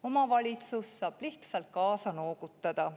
Omavalitsus saab lihtsalt kaasa noogutada.